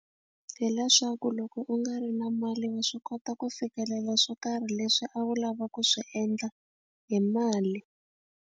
Hi leswaku loko u nga ri na mali wa swi kota ku fikelela swo karhi leswi a wu lava ku swi endla hi mali.